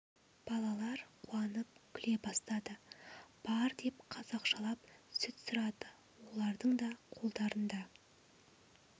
балалар қуанып күле бастады бар деп қазақшалап сүт сұрады олардың да қолдарында